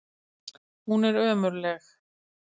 Hún er ömurleg.